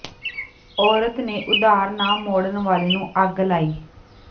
ਔਰਤ ਨੇ ਉਧਾਰ ਨਾ ਮੋੜਨ ਵਾਲੇ ਨੂੰ ਅੱਗ ਲਾਈ